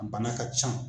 A bana ka ca